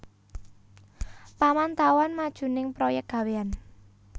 Pamantauan majuning proyek gawéyan